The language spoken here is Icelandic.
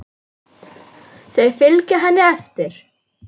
Þau fylgja henni eftir.